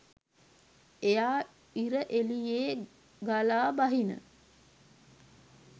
එයා ඉර එළියෙ ගලා බහින